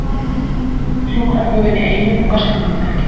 Sjúkraflugvél í Eyjum um verslunarmannahelgi